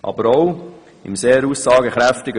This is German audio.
Aber auch der Vortrag ist sehr aussagekräftig.